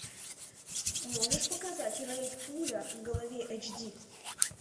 можешь показать рейд пуля в голове эйч ди